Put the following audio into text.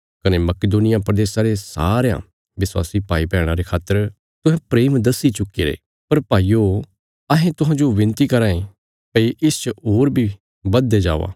कने मकिदुनिया प्रदेशा रे सरयां विश्वासी भाईभैणां रे खातर तुहें प्रेम दस्सी चुक्कीरे पर भाईयो अहें तुहांजो विनती कराँ भई इसच होर बी बधदे जाओ